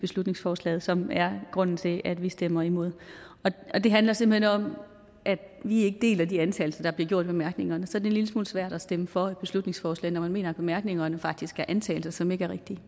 beslutningsforslaget som er grunden til at vi stemmer imod det handler simpelt hen om at vi ikke deler de antagelser der bliver gjort i bemærkningerne så en lille smule svært at stemme for et beslutningsforslag når man mener at bemærkningerne faktisk er antagelser som ikke er rigtige